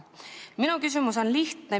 Minu küsimus on lihtne.